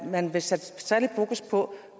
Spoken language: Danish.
man vil sætte særlig fokus på